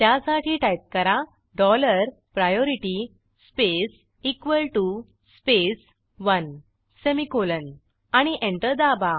त्यासाठी टाईप करा dollar priority space equal T O space one semicolon आणि एंटर दाबा